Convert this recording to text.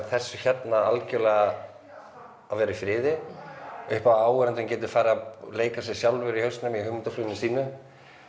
þessu hérna algjörlega að vera í friði upp á að áhorfandinn geti farið að leika sér sjálfur í hausnum í hugmyndafluginu sínu